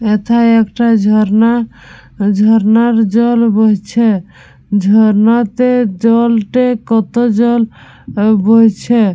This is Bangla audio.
এথায় একটা ঝর্ণা ঝর্ণার জল বইছে। ঝর্ণাতে জলটা কত জল এ বইছে।